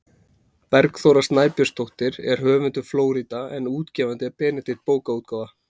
Bergþóra Snæbjörnsdóttir er höfundur „Flórída“ en útgefandi er Benedikt bókaútgáfa.